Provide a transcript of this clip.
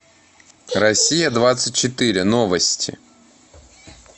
россия двадцать четыре новости